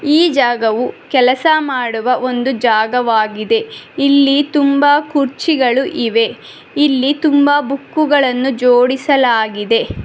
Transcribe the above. ಈ ಜಾಗವು ಕೆಲಸ ಮಾಡುವ ಒಂದು ಜಾಗವಾಗಿದೆ ಇಲ್ಲಿ ತುಂಬ ಕುರ್ಚಿಗಳು ಇವೆ ಇಲ್ಲಿ ತುಂಬ ಬುಕ್ಕುಗಳನ್ನು ಜೋಡಿಸಲಾಗಿದೆ.